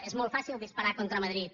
és molt fàcil disparar contra madrid